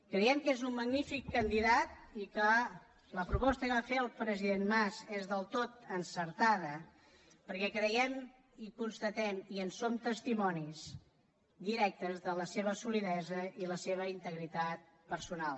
creiem que és un magnífic candidat i que la proposta que va fer el president mas és del tot encertada perquè hi creiem i constatem i en som testimonis directes la seva solidesa i la seva integritat personal